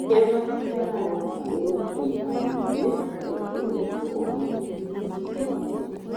Iria maciaro marĩ na fiber nyingĩ ta apple nĩguo ũgĩe na ũgima mwega wa mwĩrĩ.